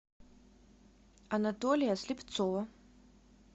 анатолия слепцова